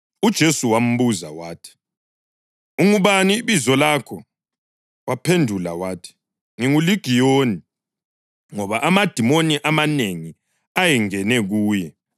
UJesu wambuza wathi, “Ungubani ibizo lakho?” Waphendula wathi, “NginguLigiyoni,” ngoba amadimoni amanengi ayengene kuye.